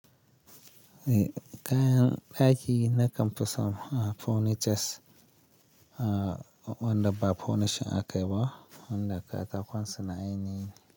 Kayan ɗaki na kamfisan furnitures wanda ba furniture akayi ba wanda katakon suna ainihin.